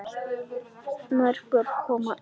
Mörg börn koma ein.